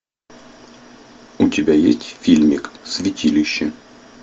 у тебя есть фильмик святилище